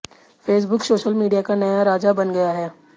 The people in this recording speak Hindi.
फेसबुक सोशल मीडिया का नया राजा बन गया है